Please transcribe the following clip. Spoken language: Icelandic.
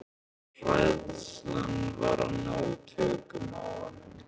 Hræðslan var að ná tökum á honum.